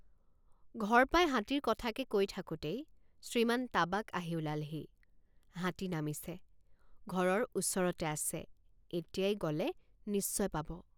ঘৰ পাই হাতীৰ কথাকে কৈ থাকোঁতেই শ্ৰীমান তাবাক আহি ওলালহি হাতী নামিছে ঘৰৰ ওচৰতে আছে এতিয়াই গ'লে নিশ্চয় পাব।